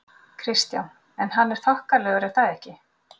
Kristján: En hann er þokkalegur er það ekki?